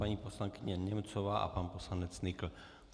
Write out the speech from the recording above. Paní poslankyně Němcová a pan poslanec Nykl.